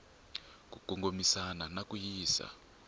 ku kongomisa na ku yisa